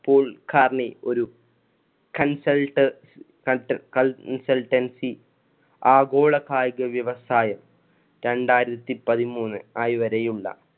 പോൽ കാർണി ഒരു consult~ consultancy ആഗോള കായിക വ്യവസായം രണ്ടായിരത്തി പതിമൂന്ന് ആയി വരെയുള്ള